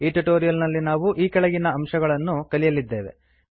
ಈ ಟ್ಯುಟೋರಿಯಲ್ ನಲ್ಲಿ ನಾವು ಕೆಳಗಿರುವ ಅಂಶಗಳನ್ನು ಕಲಿಯಲಿದ್ದೇವೆ